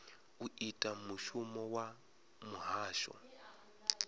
u ita mushumo wa muhasho